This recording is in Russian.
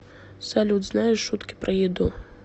салют знаешь шутки про еду